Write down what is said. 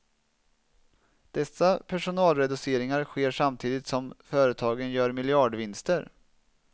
Dessa personalreduceringar sker samtidigt som företagen gör miljardvinster.